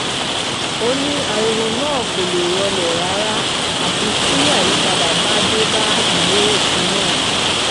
ó ní ariwo náà kò lè rọlẹ̀ rárá àfi tí àyípadà bá dé bá ìwé òfin náà